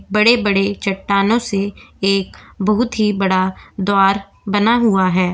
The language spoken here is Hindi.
बड़े बड़े चट्टानों से एक बहुत ही बड़ा द्वार बना हुआ हैं।